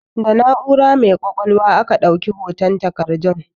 Da na'ura mai ƙwaƙwalwa aka ɗauki hoton takardun